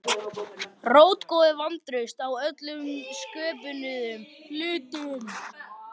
Rótgróið vantraust á öllum sköpuðum hlutum.